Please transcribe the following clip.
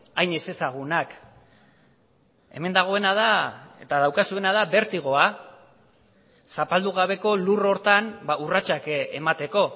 hain ezezagunak hemen dagoena da eta daukazuena da bertigoa zapaldu gabeko lur horretan urratsak emateko